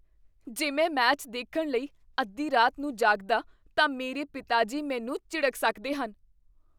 ਜੇ ਮੈਂ ਮੈਚ ਦੇਖਣ ਲਈ ਅੱਧੀ ਰਾਤ ਨੂੰ ਜਾਗਦਾ ਤਾਂ ਮੇਰੇ ਪਿਤਾ ਜੀ ਮੈਨੂੰ ਝਿੜਕ ਸਕਦੇ ਹਨ।